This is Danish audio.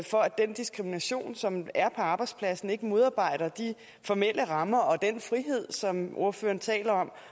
for at den diskrimination som er på arbejdspladsen ikke modarbejder de formelle rammer og den frihed som ordføreren taler om